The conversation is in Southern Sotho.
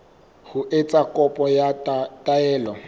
ho etsa kopo ya taelo